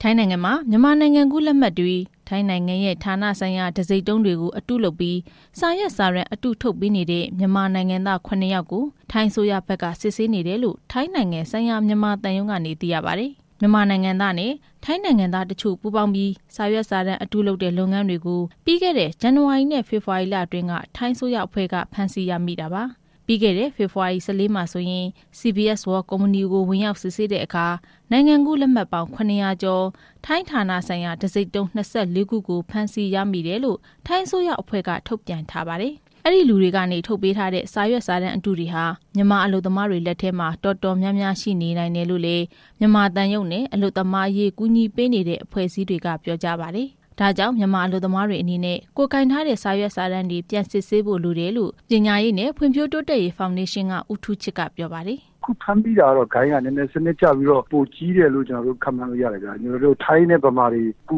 ထိုင်းနိုင်ငံမှာ မြန်မာနိုင်ငံကူးလက်မှတ်တွေ၊ ထိုင်းနိုင်ငံရဲ့ ဌာနဆိုင်ရာတံဆိပ်တုံးတွေကို အတုလုပ်ပြီး စာရွက်စာတမ်းအတုတွေ ထုတ်ပေးနေတဲ့ မြန်မာနိုင်ငံသား ၇ ယောက်ကို ထိုင်းအစိုးရဘက်က စစ်ဆေးနေတယ်လို့ ထိုင်းနိုင်ငံဆိုင်ရာ မြန်မာသံရုံးကနေ သိရပါတယ်။ မြန်မာနိုင်ငံသားနဲ့ ထိုင်းနိုင်ငံသားတချို့ ပူးပေါင်းပြီး စာရွက်စာတမ်းအတုလုပ်တဲ့ လုပ်ငန်းတွေကို ပြီးခဲ့တဲ့ ဇန်နဝါရီနဲ့ ဖေဖော်ဝါရီလအတွင်းက ထိုင်းအစိုးရအဖွဲ့က ဖမ်းဆီးရမိတာပါ။ ပြီးခဲ့တဲ့ ဖေဖော်ဝါရီ ၁၄ မှာဆိုရင် CBS World ကုမ္ပဏီကို ဝင်ရောက်စစ်ဆေးတဲ့အခါ နိုင်ငံကူးလက်မှတ်ပေါင်း ၇၀၀ ကျော်၊ ထိုင်းဌာနဆိုင်ရာ တံဆိပ်တုံး ၂၄ ခုကို ဖမ်းဆီးရမိတယ်လို့ ထိုင်းအစိုးရအဖွဲ့က ထုတ်ပြန်ထားပါတယ်။ အဲဒီလူတွေကနေ ထုတ်ပေးထားတဲ့ စာရွက်စာတမ်းအတုတွေဟာ မြန်မာအလုပ်သမားတွေ လက်ထဲမှာ တော်တော်များများ ရှိနေနိုင်တယ်လို့လည်း မြန်မာနိုင်ငံသံရုံးနဲ့ အလုပ်သမားတွေကို ကူညီပေးနေတဲ့ အဖွဲ့အစည်းတွေက ပြောကြပါတယ်။ ဒ့ါကြောင့် မြန်မာအလုပ်သမားတွေအနေနဲ့ ကိုယ်ကိုင်ထားတဲ့ စာရွက်စာတမ်းတွေကို ပြန်စစ်ဆေးဖို့လိုတယ်လို့ ပညာရေးနဲ့ဖွံ့ဖြိုးတိုးတက်ရေး ဖောင်ဒေးရှင်းက ဦးထူးချစ်က ပြောပါတယ်။ "အခုဖမ်းမိတာကတော့ ဂိုဏ်းက စနစ်ကျပြီးပိုပြီးကြီးတယ်လို့ ခန့်မှန်းလို့ရတယ်ဗျ။ ထိုင်းနဲ့ဗမာတွေ န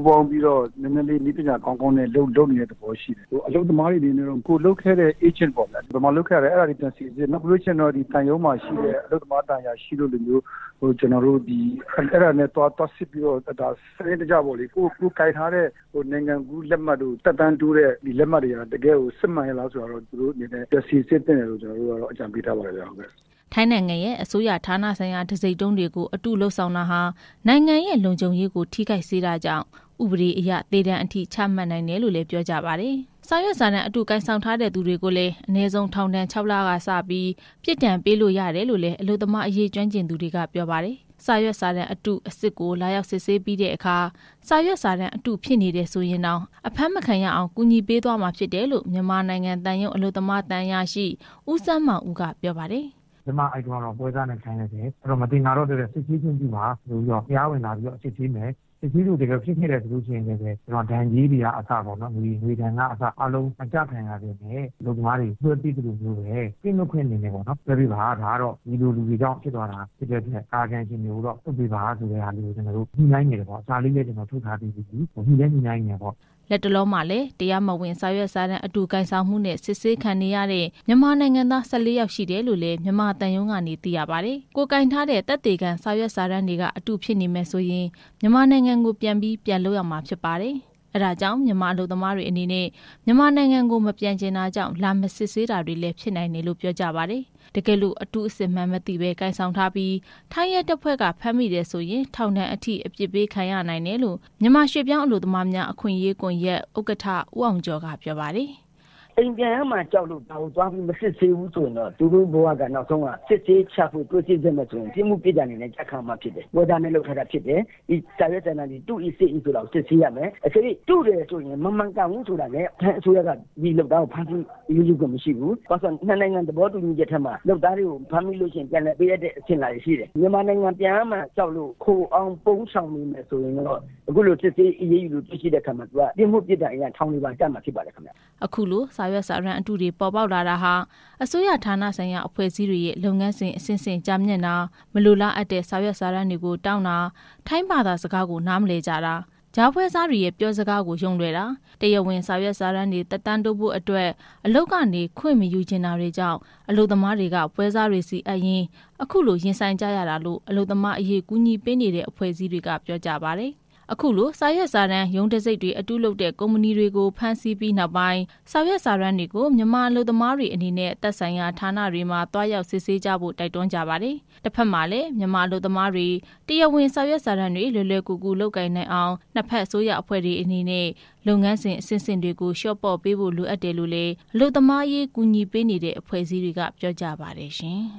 ည်းပညာကောင်းကောင်းနဲ့ လုပ်နေတဲ့သဘောရှိတယ်။ အလုပ်သမားတွေအနေနဲ့ ကိုယ်လုပ်ခဲ့တဲ့ အေးဂျင့်ကို ပြန်စိစစ်၊ ဘယ်မှာလုပ်ခဲ့သလဲပေါ့နော်။ ပြီးရင် မြန်မာသံရုံးမှာရှိတဲ့ အလုပ်သမားသံအရာရှိတွေနဲ့ သွားစိစစ်။ ပြီးရင် ကိုယ်ကိုင်ထားတဲ့ နိုင်ငံကူးလက်မှတ်တွေက တကယ်စစ်ရဲ့လား ပြန်စစ်သင့်တယ်လို့ အကြံပေးချင်တယ်ခင်ဗျ" ထိုင်းနိုင်ငံရဲ့ အစိုးရဌာနဆိုင်ရာ တံဆိပ်တုံးတွေကို အတုလုပ်ဆောင်တာဟာ နိုင်ငံရဲ့လုံခြုံရေးကို ထိခိုက်စေတာကြောင့် ဥပဒေအရ သေဒဏ်အထိ ချမှတ်နိုင်တယ်လို့လည်း ပြောကြပါတယ်။ စာရွက်စာတမ်း အတုကိုင်ဆောင်ထားတဲ့ သူတွေကိုလည်း အနည်းဆုံး ထောင်ဒဏ် ၆ လကနေစပြီး ပြစ်ဒဏ်ပေးလို့ရတယ်လို့လည်း အလုပ်သမားအရေး ကျွမ်းကျင်သူတွေက ပြောပါတယ်။ စာရွက်စာတမ်း အတု၊ အစစ်ကို လာရောက်စစ်ဆေးပြီးတဲ့အခါ စာရွက်စာတမ်းအတုဖြစ်နေရင်တောင် အဖမ်းမခံရအောင် ကူညီပေးသွားမှာဖြစ်တယ်လို့ မြန်မာနိုင်ငံသံရုံး အလုပ်သမား သံအရာရှိ ဦးစန်းမောင်ဦးက ပြောပါတယ်။ "အဲဒီတုန်းကတော့ ပွဲစားနဲ့လုပ်လိုက်တယ်။ အခု တရားဝင်လာပြီးတော့ စစ်ဆေးခွင့်ပြုပါဆိုပြီး စစ်ဆေးမယ်။ တကယ်လို့ အတုဖြစ်ရင်တောင် ဒဏ်ကြေးတွေကအစ မကျခံရဘဲနဲ့ တခြားအလုပ်သမားတွေ လွှဲပေးသလိုပဲ ကင်းလွှတ်ခွင့်နဲ့ လွှဲပေးပါ၊ ဒီလိုလူတွေကြောင့် ဖြစ်သွားတာပါ၊ လွှတ်ပေးပါဆိုပြီး ညှိနှိုင်းတယ်ပေါ့။ စာလည်းထုတ်ပြီးပါပြီ" လတ်တလောမှာလည်း တရားမဝင် စာရွက်စာတမ်း အတုကိုင်ဆောင်မှုနဲ့ အစစ်ဆေးခံနေရတဲ့ မြန်မာနိုင်ငံသား ၁၄ ယောက်ရှိတယ်လို့ မြန်မာသံရုံးကနေ သိရပါတယ်။ ကိုယ်ကိုင်ထားတဲ့ သက်သေခံစာရွက်စာတမ်းတွေက အတုဖြစ်နေမယ်ဆိုရင် မြန်မာနိုင်ငံကို ပြန်ပြီး ပြန်လုပ်ရမှာဖြစ်ပါတယ်။ အဲဒါကြောင့် မြန်မာအလုပ်သမားတွေအနေနဲ့ မြန်မာနိုင်ငံကို မပြန်ချင်တာကြောင့် လာမစစ်ဆေးတာတွေလည်း ဖြစ်နိုင်တယ်လို့ ပြောကြပါတယ်။ တကယ်လို့ အတုအစစ်မှန်းမသိဘဲ ကိုင်ဆောင်ထားပြီး ထိုင်းရဲတပ်ဖွဲ့က ဖမ်းမိတယ်ဆိုရင် ထောင်ဒဏ်အထိ အပြစ်ပေးခံရနိုင်တယ်လို့ မြန်မာရွှေ့ပြောင်းအလုပ်သမားများ အခွင့်အရေးကွန်ယက် ဥက္ကဋ္ဌ ဦးအောင်ကျော်က ပြောပါတယ်။ "အိမ်ပြန်ရမှာကြောက်လို့ ဒါကိုမစစ်ဆေးဘူးဆိုရင် သူတို့ဘဝက စစ်ဆေးရှာဖွေတွေ့ရှိခဲ့မယ်ဆိုရင် ပြစ်မှုပြစ်ဒဏ်ကျခံရမှာဖြစ်တယ်။ ပွဲစားနဲ့လုပ်ထားတာဖြစ်တယ်။ စာရွက်စာတမ်းတွေ တု၏၊ စစ်၏ ဆိုတာကို စစ်ဆေးရမယ်။ တကယ်လို့ အတုဆိုရင် ထိုင်းအစိုးရက ဖမ်းဆီးခွင့်မရှိဘူး။ ဘာလို့လဲဆိုတော့ ၂ နိုင်ငံ သဘောတူညီချက်ထဲမှာပါတယ်။ မြန်မာနိုင်ငံကို ပြန်ရမှာကြောက်လို့ ခိုအောင်းရှောင်တိမ်းနေမယ်ဆိုရင်တော့ စစ်ဆေးတွေ့ရှိရင် ပြစ်မှုပြစ်ဒဏ်တွေ ခံရမှာဖြစ်ပါတယ်" အခုလို စာရွက်စာတမ်း အတုတွေပေါ်လာတာဟာ အစိုးရဌာနဆိုင်ရာအဖွဲ့အစည်းတွေရဲ့ လုပ်ငန်းစဉ်အဆင့်ဆင့် ကြာမြင့်တာ၊ မလိုလားအပ်တဲ့ စာရွက်စာတမ်းတွေကို တောင်းတာ၊ ထိုင်းဘာသာစကားကို နားမလည်ကြတာ၊ ကြားပွဲစားတွေရဲ့ ပြောစကားကို ယုံလွယ်ကြတာ၊ တရားဝင်စာရွက်စာတမ်းတွေ သက်တမ်းတိုးဖို့အတွက် အလုပ်ကနေ ခွင့်မယူချင်တာတွေကြောင့် ပွဲစားတွေဆီအပ်ရင်း အခုလို ရင်ဆိုင်ကြရတာလို့ အလုပ်သမားကူညီရေး အဖွဲ့အစည်းတွေက ပြောကြပါတယ်။ အခုလို စာရွက်စာတမ်း၊ ရုံးတံဆိပ်တွေ အတုလုပ်တဲ့ ကုမ္ပဏီလုပ်ငန်းတွေကို ဖမ်းဆီးပြီးနောက်ပိုင်း စာရွက်စာတမ်းတွေကို မြန်မာအလုပ်သမားတွေအနေနဲ့ သက်ဆိုင်ရာ ဌာနတွေမှာ သွားရောက်စစ်ဆေးကြဖို့ တိုက်တွန်းကြပါတယ်။ တဖက်မှာလည်း မြန်မာအလုပ်သမားတွေ တရားဝင် စာရွက်စာတမ်းတွေ လွယ်လွယ်ကူကူ လုပ်ကိုင်နိုင်အောင် နှစ်ဖက် အစိုးရဌာနတွေအနေနဲ့ လုပ်ငန်းစဉ်အဆင့်ဆင့်တွေကို လျော့ပေ့ါပေးဖို့ လိုအပ်တယ်လို့လည်း အလုပ်သမားအဖွဲ့အစည်းတွေက ပြောကြပါတယ်ရှင်။